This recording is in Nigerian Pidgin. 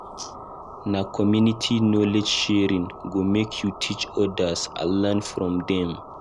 Na community knowledge sharing go make you teach odas and learn from dem.